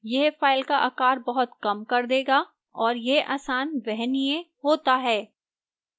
यह फाइल का आकार बहुत कम कर देगा और यह आसान वहनीय होता है